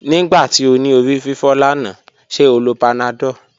Nigbati o ni orififo lana, ṣe o lo panadol?